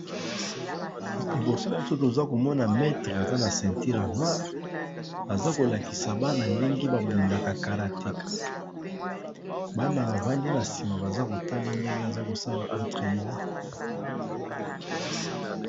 Liboso nanga nazomona mettre aza na senteur ya noire aza kolakisa bana ndenge babundaka karatéka bana bavandi nasima bazakotala ndenge azokosala entraînement